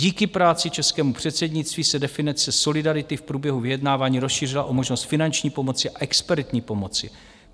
Díky práci českého předsednictví se definice solidarity v průběhu vyjednávání rozšířila o možnost finanční pomoci a expertní pomoci.